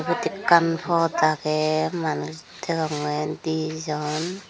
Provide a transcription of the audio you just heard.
syot ekkan phat agey manus degongey dijon.